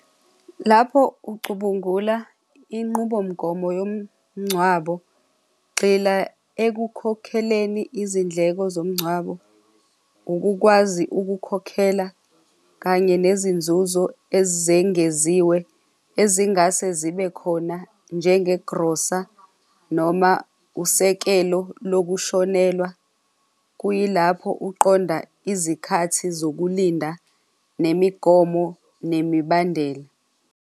Lapho ucubungula inqubomgomo yomngcwabo, gxila ekukhokheleni izindleko zomngcwabo, ukukwazi ukukhokhela kanye nezinzuzo ezengeziwe ezingase zibe khona njenge grosa noma usekelo lokushonelwa, kuyilapho uqonda izikhathi zokulinda nemigomo nemibandela.